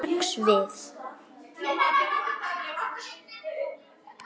Ég sneri strax við.